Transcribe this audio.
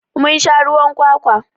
Mun sha ruwan kwakwa.